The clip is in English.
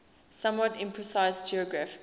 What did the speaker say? somewhat imprecise geographical